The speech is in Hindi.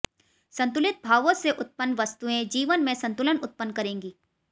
संतुलित भावों से उत्पन्न वस्तुएं जीवन में संतुलन उत्पन्न करेंगी